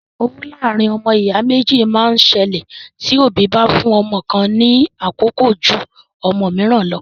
Owú láàárín ọmọ ìyá méjì máa ń ṣẹlẹ tí òbí bá fún ọmọ kan ní àkókò jú ọmọ mìíràn lọ.